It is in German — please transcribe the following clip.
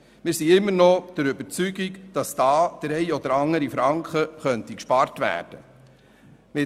Wir sind immer noch der Überzeugung, dass da der eine oder andere Franken gespart werden könnte.